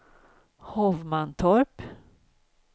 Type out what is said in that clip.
Hovmantorp